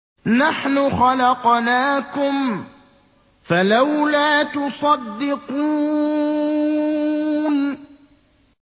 نَحْنُ خَلَقْنَاكُمْ فَلَوْلَا تُصَدِّقُونَ